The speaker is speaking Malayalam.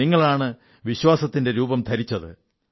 നിങ്ങളാണ് വിശ്വാസത്തിന്റെ രൂപം ധരിച്ചത്